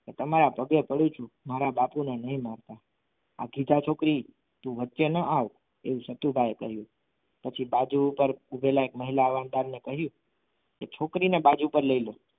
કે તમારા પગે પડું છું મારા બાપુને નહીં મારતા ભાગી જા છોકરી તું વચ્ચે ના આવ એવું સતુભાઈ કહ્યું પછી બાજુ ઉપર પેલા મહિલા ને કહ્યું કે છોકરીને બાજુ પર લઈ જાવ.